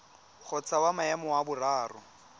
kgotsa wa maemo a boraro